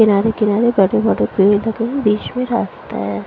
किनारे किनारे कटे फटे पेड़ लगे हैं बीच में रास्ता है।